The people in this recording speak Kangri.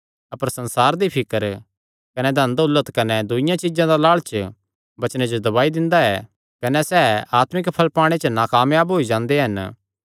अपर संसार दी फिकर कने धन दौलत कने दूईआं चीज्जां दा लालच वचने जो दबाई दिंदा ऐ कने सैह़ आत्मिक फल़ पाणे च नाकायाब होई जांदे हन